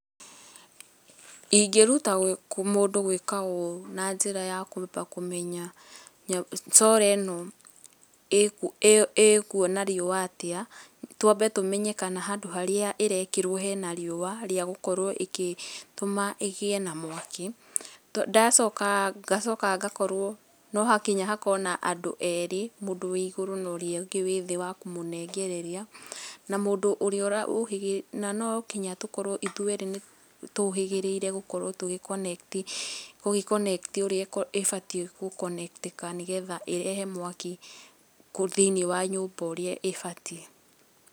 Ingĩruta mũndũ gwĩka ũũ na njĩra ya kwamba kũmenya Solar ĩno ĩkuona riũa atĩa, twambe tũmenye kana handũ harĩa ĩrekĩrwo hena riũa rĩa gũkorwo ĩgĩtũma ĩgĩe na mwaki, ndacoka, ngacoka ngakorwo no hakinya hakorwo na andũ erĩ, mũndũ wĩ igũru na ũrĩa ũngĩ wĩ thĩ wa kũmũnengereria, na mũndũ ũrĩa ũhĩgĩna nonginya tũkorwo ithuerĩ nĩ tũhĩgĩrĩire gũkorwo tũgĩ connect gũgĩ connect ũrĩa ibatiĩ gũkonektĩka nĩgetha ĩrehe mwaki thĩ-inĩ wa nyũmba ũrĩa ĩbatiĩ.